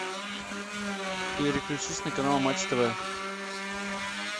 переключись на канал матч тв